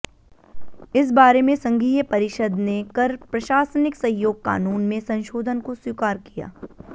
इस बारे में संघीय परिषद ने कर प्रशासनिक सहयोग कानून में संशोधन को स्वीकार किया